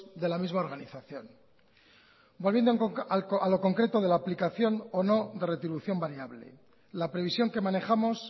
de la misma organización volviendo a lo concreto de la aplicación o no de retribución variable la previsión que manejamos